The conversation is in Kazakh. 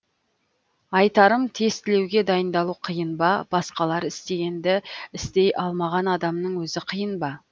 айтарым тестілеуге дайындалу қиын ба басқалар істегенді істей алмаған адамның өзі қиын ба